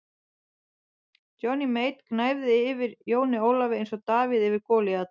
Johnny Mate gnæfði yfir Jóni Ólafi eins og Davíð yfir Golíat.